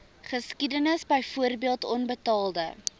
geskiedenis byvoorbeeld onbetaalde